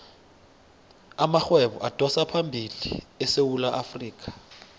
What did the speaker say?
amarhwebo adosaphambili esewula afrikha